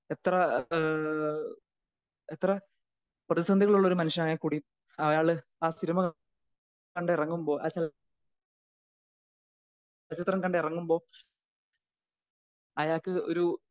എത്ര ഏഹ്‌ എത്ര പ്രതിസന്ധികളുള്ള ഒരു മനുഷ്യനാണെങ്കിൽ കൂടി അയാൾ ആഹ് സിനിമ കണ്ട് ഇറങ്ങുമ്പോൾ ആഹ് ചല ചലചിത്രം കണ്ട് ഇറങ്ങുമ്പോൾ അയാൾക്ക് ഒരു